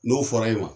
N'o fɔra e ma